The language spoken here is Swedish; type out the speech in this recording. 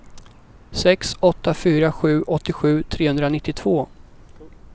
sex åtta fyra sju åttiosju trehundranittiotvå